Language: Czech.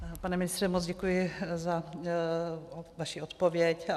Pane ministře, moc děkuji za vaši odpověď.